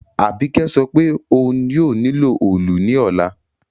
Àbíkẹ́ sopé oun yio nílò òòlù ní òla